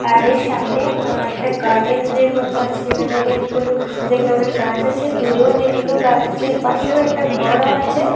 আর এর সামনে আ একটা গার্ডেন এর মতো আছে যেখানে অনেকগুলো অনেক রঙের গাছ আছে দূরে অনেকগুলো গাছ আছে এর পাশেও একটা ঘরও আছে।